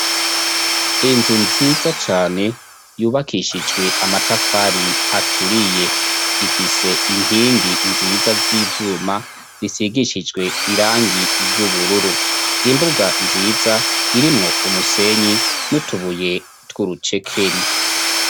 Inzu nziza cane yubakishijwe amatafari aturiye, ifise inkingi nziza z'ivyuma zisigishijwe irangi ry'ubururu, imbuga nziza irimwo umusenyi n'utubuye tw'urucekeri.